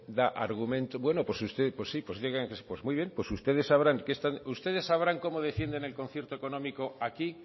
da argumentos bueno pues usted pues sí pues digan pues muy bien pues ustedes sabrán cómo defienden el concierto económico aquí